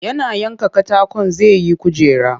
Yana yanka katakon zai yi kujera